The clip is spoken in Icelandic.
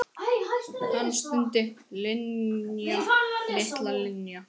Hann stundi: Linja, litla Linja.